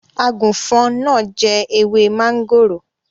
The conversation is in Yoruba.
Àgùfọn náà jẹ ewé máńgòrò.